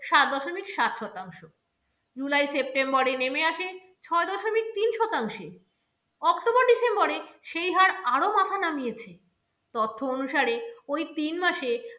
সাত দশমিক সাত শতাংশ, july september এ নেমে আসে ছয় দশমিক তিন শতাংশে, october december এ সেই হার আরো মাথা নামিয়েছে। তথ্য অনুসারে ওই তিন মাসে